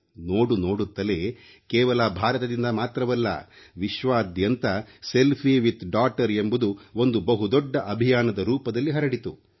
ನೋಡು ನೋಡುತ್ತಲೇ ಕೇವಲ ಭಾರತದಿಂದ ಮಾತ್ರವಲ್ಲ ವಿಶ್ವದಾದ್ಯಂತ ಸೆಲ್ಫಿ ವಿದ್ ಡಾಟರ್ ಎಂಬುದು ಒಂದು ಬಹುದೊಡ್ಡ ಅಭಿಯಾನದ ರೂಪದಲ್ಲಿ ಹರಡಿತು